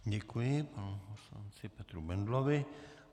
Děkuji panu poslanci Petru Bendlovi.